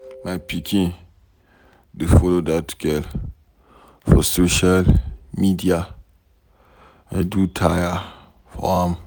My pikin dey follow dat girl for social media. I do tire for am.